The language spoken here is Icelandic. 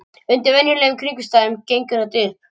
Undir venjulegum kringumstæðum gengur þetta upp.